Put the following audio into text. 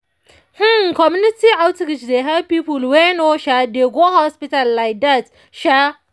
hmm community outreach dey help people wey no um dey go hospital like dat. um